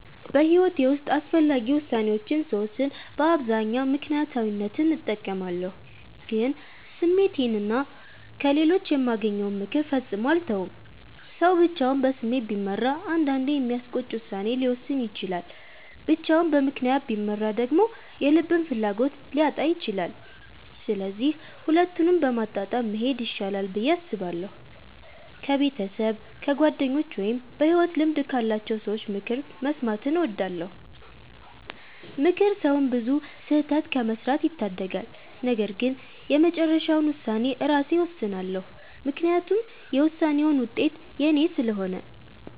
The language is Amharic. በሕይወቴ ውስጥ አስፈላጊ ውሳኔዎችን ስወስን በአብዛኛው ምክንያታዊነትን እጠቀማለሁ፣ ግን ስሜቴንና ከሌሎች የማገኘውን ምክር ፈጽሞ አልተውም። ሰው ብቻውን በስሜት ቢመራ አንዳንዴ የሚያስቆጭ ውሳኔ ሊወስን ይችላል፤ ብቻውን በምክንያት ቢመራ ደግሞ የልብን ፍላጎት ሊያጣ ይችላል። ስለዚህ ሁለቱንም በማመጣጠን መሄድ ይሻላል ብዬ አስባለሁ። ከቤተሰብ፣ ከጓደኞች ወይም በሕይወት ልምድ ካላቸው ሰዎች ምክር መስማትን እወዳለሁ። ምክር ሰውን ብዙ ስህተት ከመስራት ይታደጋል። ነገር ግን የመጨረሻውን ውሳኔ ራሴ እወስናለሁ፤ ምክንያቱም የውሳኔውን ውጤት የኔ ስለሆነ።